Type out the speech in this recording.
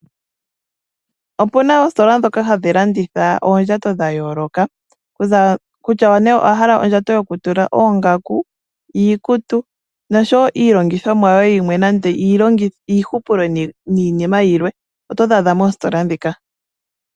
Opuna oositola ndoka ha dhi landitha oondjato dha yooloka, kutya ne owahala ondjayo yo ku tula oongaku, iikutu osho wo iilongithomwa yoye yimwe nande iihupulo niinima yilwe, oto dhi adha moositola muka.